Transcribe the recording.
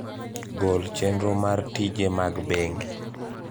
gol chenro mar tije mag bengi